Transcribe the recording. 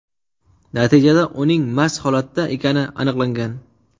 Natijada uning mast holatda ekani aniqlangan.